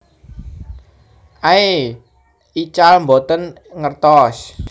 Aey ical boten ngertos